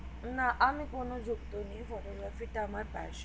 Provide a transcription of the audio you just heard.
না আমি কোন যুক্ত নেই photographic টা আমার passion